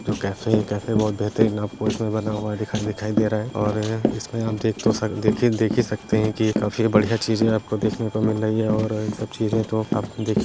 जो कैफ़े है कैफ़े बहोत बेहतरीन आपको इसमें बना हुआ दिखाई दिखाई दे रहा है और इसमें आप देख तो सकतेदेखिये देख ही सकते हैं की ये काफी बढ़िया चीज़ें आपको देखने को मिल रही है और ये सब चीज़ें तो आपको देख --